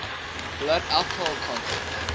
blood alcohol content